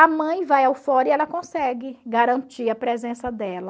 A mãe vai ao fórum e ela consegue garantir a presença dela.